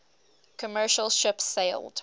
commercial ship sailed